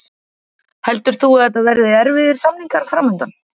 Heldur þú að þetta verði erfiðir samningar fram undan?